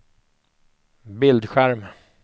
bildskärm